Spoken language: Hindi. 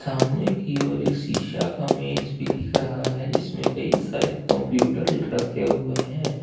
सामने की ओर एक शीशा का मेज भी दिख रहा है जिसमें कई सारे कंप्यूटर रखे हुए हैं।